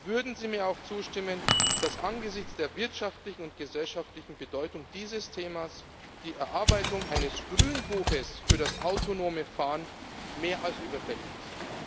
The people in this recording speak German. Würden Sie mir auch zustimmen, dass angesichts der wirtschaftlichen und gesellschaftlichen Bedeutung dieses Themas die Erarbeitung eines Grünbuchs für das autonome Fahren mehr als überfällig ist?